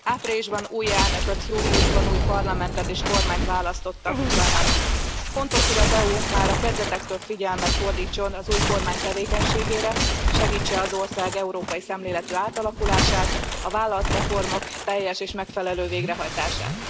Áprilisban új elnököt, júliusban új parlamentet és kormányt választottak Ukrajnában. Fontos, hogy az EU már a kezdetektől figyelmet fordítson az új kormány tevékenységére, segítse az ország európai szemléletű átalakulását, a vállalt reformok teljes és megfelelő végrehajtását.